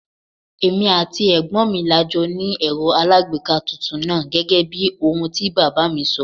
Èmi àti ẹ̀gbọ́n mi la jọ ni Ẹ̀rọ alagbeeka tuntun náà gẹ́gẹ́bí ohun tí bàbá mi sọ.